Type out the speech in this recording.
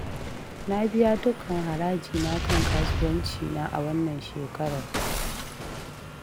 Na biya dukkan haraji na kan kasuwancina a wannan shekarar